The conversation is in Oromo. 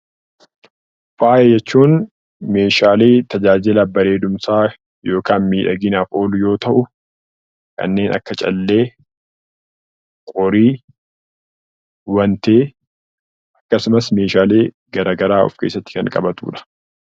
Faaya jechuun meeshaalee tajaajila bareedinaa yookaan miidhaginaaf oolu yoo ta'u, kanneen akka callee , qorii, wantee akkasumas meeshaalee garaagaraa kan of keessatti qabatudha.